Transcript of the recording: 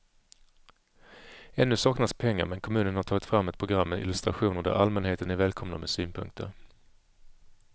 Ännu saknas pengar men kommunen har tagit fram ett program med illustrationer där allmänheten är välkomna med synpunkter.